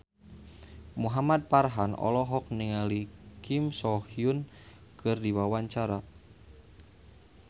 Muhamad Farhan olohok ningali Kim So Hyun keur diwawancara